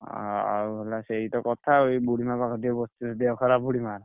ଆଉ ହେଲା ସେଇତ କଥା ଅଉ ଏଇ ବୁଢୀମା ପାଖରେ ଟିକେ ବସିଥିଲି ଦେହ ଖରାପ ବୁଢୀମା!